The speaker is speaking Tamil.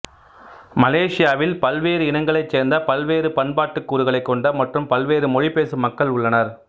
மலேசியாவில் பல்வேறு இனங்களைச் சேர்ந்த பல்வேறு பண்பாட்டுக் கூறுகளைக் கொண்ட மற்றும் பல்வேறு மொழிபேசும் மக்கள் உள்ளனர்